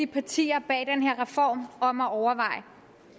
partierne bag den her reform om at overveje